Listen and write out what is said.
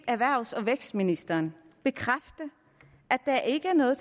erhvervs og vækstministeren bekræfte at der ikke er noget